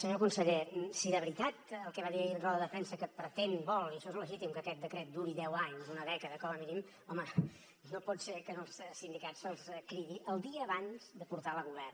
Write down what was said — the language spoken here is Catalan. senyor conseller si de veritat el que va dir ahir en roda de premsa que pretén vol i això és legítim que aquest decret duri deu anys una dècada com a mínim home no pot ser que als sindicats se’ls cridi el dia abans de portar lo a govern